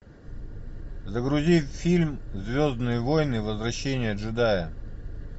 загрузи фильм звездные войны возвращение джедая